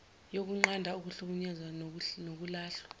yokunqanda ukuhlukunyezwa nokulahlwa